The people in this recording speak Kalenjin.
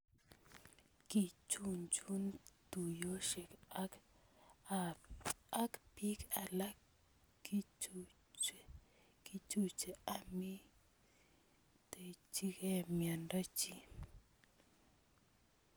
Kichuchuch tuyosiek ak bik alak kochuchuche amayiitechike myondo chi